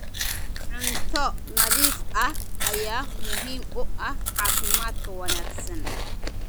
Cunto nadiif ah ayaa muhiim u ah caafimaadka wanaagsan.